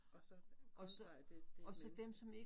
Og så kontra, at det det et menneske